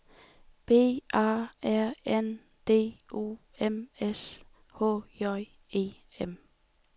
B A R N D O M S H J E M